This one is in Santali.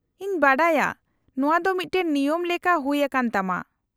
-ᱤᱧ ᱵᱟᱰᱟᱭᱟ ᱾ ᱱᱚᱶᱟ ᱫᱚ ᱢᱤᱫᱴᱟᱝ ᱱᱤᱭᱚᱢ ᱞᱮᱠᱟ ᱦᱩᱭ ᱟᱠᱟᱱ ᱛᱟᱢᱟ ᱾